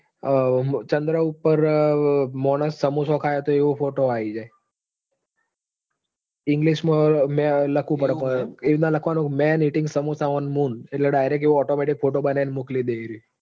હમ ચંદ્ર ઉપર મોણસ સમોસો ખાય છે. તો એવો photo આવી જાય. english માં લખવું પડે પણ એ રીતે લખવાનું men eating samosa on moon